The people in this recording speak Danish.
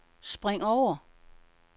spring over